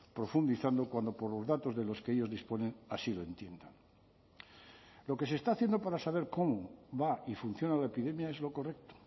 profundizando cuando por los datos de los que ellos disponen así lo entiendan lo que se está haciendo para saber cómo va y funciona la epidemia es lo correcto